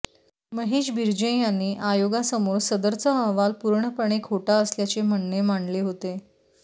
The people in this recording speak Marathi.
महेश बिर्जे यांनी आयोगासमोर सदरचा अहवाल पूर्णपणे खोटा असल्याचे म्हणणे मांडले होते